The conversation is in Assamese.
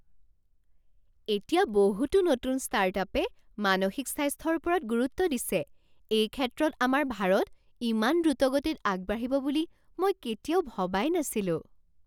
এতিয়া বহুতো নতুন ষ্টাৰ্টআপে মানসিক স্বাস্থ্যৰ ওপৰত গুৰুত্ব দিছে! এই ক্ষেত্ৰত আমাৰ ভাৰত ইমান দ্ৰুতগতিত আগবাঢ়িব বুলি মই কেতিয়াও ভবাই নাছিলো।